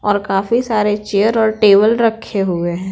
और काफी सारे चेयर और टेबल रखे हुए हैं।